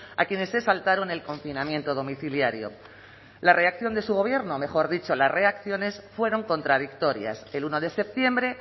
a quienes se saltaron el confinamiento domiciliario la reacción de su gobierno mejor dicho las reacciones fueron contradictorias el uno de septiembre